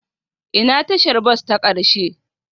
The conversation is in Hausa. Ina tashar bas ta ƙarshe?